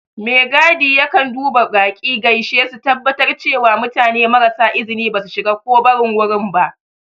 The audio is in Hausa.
Megadi yakan duba baƙi, gaishe su, tabbatar cewa mutane marasa izini ba su shiga ko barin wurin ba.